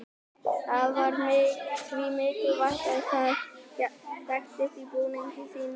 það var því mikilvægt að það þekktist á búningi sínum og ytra útliti